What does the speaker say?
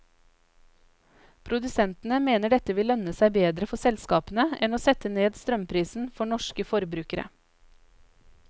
Produsentene mener dette vil lønne seg bedre for selskapene enn å sette ned strømprisen for norske forbrukere.